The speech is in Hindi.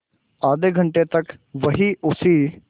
आधे घंटे तक वहीं उसी